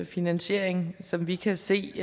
finansiering som vi kan se